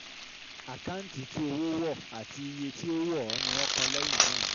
Àkáǹtì tí owó wọ̀ àti iye tí ó ó wọ̀ọ́ ni wọ́n kọ́ lẹ́yìn náà.